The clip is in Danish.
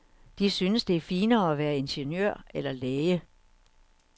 De synes, det er finere at være ingeniør eller læge.